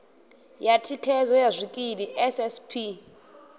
ya thikhedzo ya zwikili ssp